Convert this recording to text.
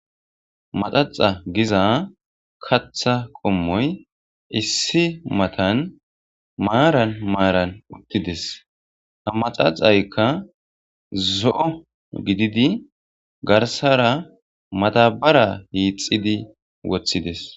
Maxaxa giza katha qomoyi issi matan maran maran utides ha maxaxaykka zo'o gididi garsara madabara hixidi wotides.